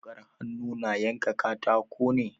Wukar hannu na yanka katako ne.